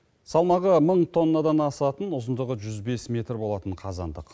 салмағы мың тоннадан асатын ұзындығы жүз бес метр болатын қазандық